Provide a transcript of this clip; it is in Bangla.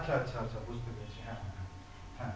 আচ্ছা আচ্ছা আচ্ছা বুঝতে পেরেছি হ্যাঁ হ্যাঁ